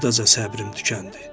Buradaca səbrim tükəndi.